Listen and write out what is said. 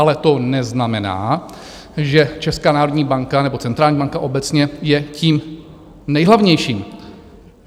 Ale to neznamená, že Česká národní banka nebo centrální banka obecně je tím nejhlavnější.